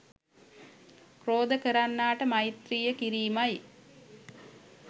ක්‍රෝධ කරන්නාට මෛත්‍රිය කිරීමයි.